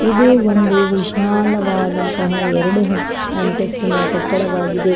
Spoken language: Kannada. ಇದು ಒಂದು ವಿಶಾಲವಾದಂತಹ ಎರಡು ಅಸ್ತ್ ಅಂತಸ್ತಿನ ಕಟ್ಟಡವಾಗಿದೆ.